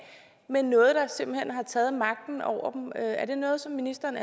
med noget der simpelt hen har taget magten over dem er det noget som ministeren